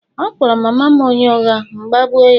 ọ kpọrọ mama m onye ụgha, m gbagbụ ya